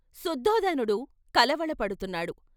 శుద్ధోదనుడు కళవర పడుతున్నాడు .